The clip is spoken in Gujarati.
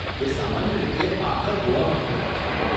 એ સામાન્ય રીતે આખા ગોવામાં યોજાય છે.